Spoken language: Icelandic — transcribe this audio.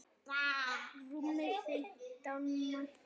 Rúmir fimmtán metrar.